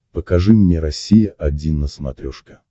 покажи мне россия один на смотрешке